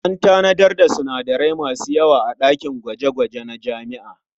An tanadar da sinadarai masu yawa a ɗakin gwaje-gwaje na jami'a.